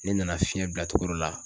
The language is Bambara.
Ne nana fiɲɛ bila togo dɔ la